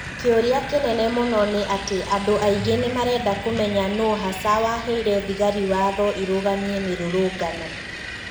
Kĩũria kĩnene mũno nĩ atĩ andũ aingĩ nĩmarenda kũmenya nũũ hasa waheire thigari watho irũgamie mĩrũrũngano